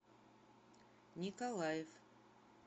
николаев